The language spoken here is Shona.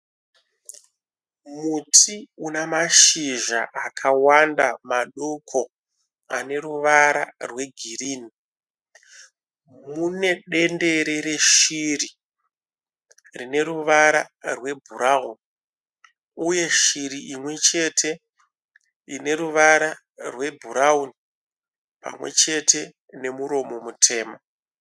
Muti unamashizha akawanda madoko ane ruvara rwegirinhi. Mune dendere reshiri rine ruvara rwebhurawuni uye shiri imwechete ine ruvara rwebhurawuni pamwechete nemuromo mutema.